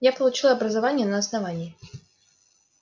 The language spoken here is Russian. я получил образование на основании